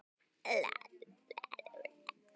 Það er svo margt.